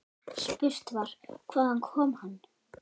Spurt var: Hvaðan kom hann.